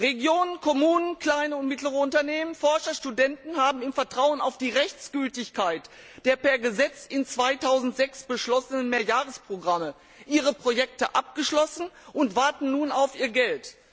Regionen, Kommunen, kleine und mittlere Unternehmen, Forscher und Studenten haben im Vertrauen auf die Rechtsgültigkeit der per Gesetz 2006 beschlossenen Mehrjahresprogramme ihre Projekte abgeschlossen und warten nun auf ihr Geld.